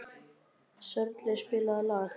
Sörli, spilaðu lag.